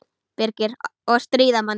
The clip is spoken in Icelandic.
Birgir: Og stríða manni.